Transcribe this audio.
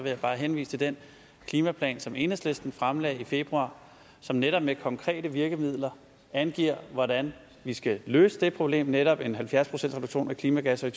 jeg bare henvise til den klimaplan som enhedslisten fremlagde i februar som netop med konkrete virkemidler angiver hvordan vi skal løse det problem netop halvfjerds procent reduktion af klimagasser i